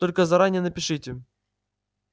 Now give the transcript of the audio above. только заранее напишите